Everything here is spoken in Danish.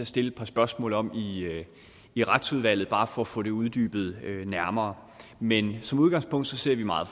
stille et par spørgsmål om i i retsudvalget bare for at få uddybet det nærmere men som udgangspunkt ser vi meget